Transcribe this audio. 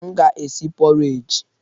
M ga-esi pọreji.